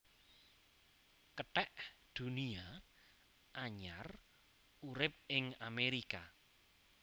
Kethek Dunia anyar urip ing Amerika